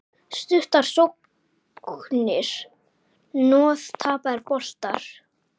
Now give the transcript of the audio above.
Stuttar sóknir, hnoð, tapaðir boltar.